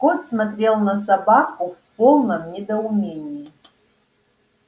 скотт смотрел на собаку в полном недоумении